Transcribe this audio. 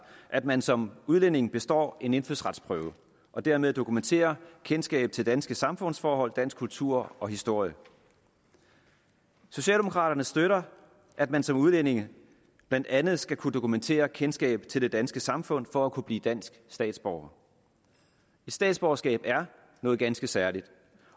at man som udlænding består en indfødsretsprøve og dermed dokumenterer kendskab til danske samfundsforhold dansk kultur og historie socialdemokraterne støtter at man som udlænding blandt andet skal kunne dokumentere kendskab til det danske samfund for at kunne blive dansk statsborger statsborgerskab er noget ganske særligt